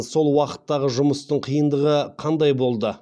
сол уақыттағы жұмыстың қиындығы қандай болды